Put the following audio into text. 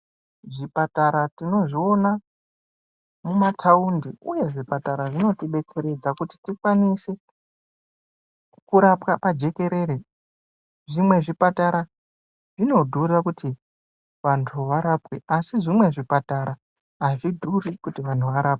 Zvipatara tinozviona mumataundi uyezve zvipatara zvinotibetsera kuti tikwanise kurapwa pajekerere zvimwe zvipatara zvinodhura kuti vandu varapwe asi zvimwe zvipatara hazvidhuri kuti vanhu varapwe.